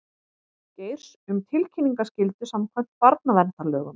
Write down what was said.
Geirs um tilkynningaskyldu samkvæmt barnaverndarlögum